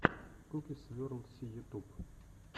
куки сверл си ютуб